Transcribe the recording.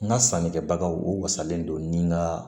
N ka sannikɛbagaw u wasalen don ni nka